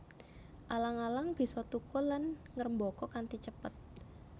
Alang alang bisa thukul lan ngrembaka kanthi cepet